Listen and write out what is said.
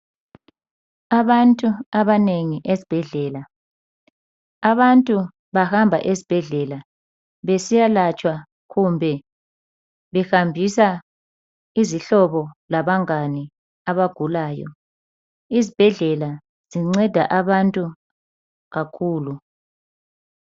Abantu abanengi esibhedlela. Abantu bahamba esibhedlela behambisa izihlobo labangane abagulayo. Izibhedlela zinceda abantu kakhulu.